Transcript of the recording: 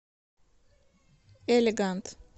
элегант